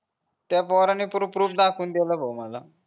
त्या पोराने proof proof दाखवून देल भो मला